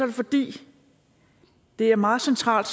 det fordi det er meget centralt